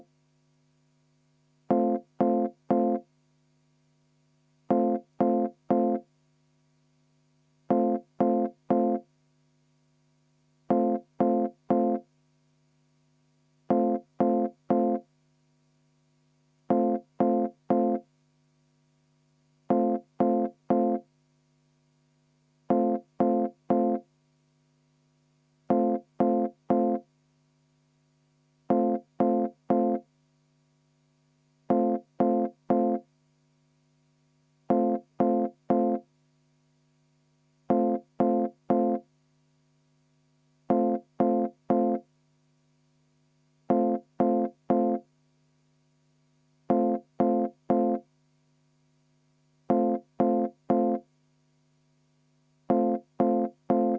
V a h e a e g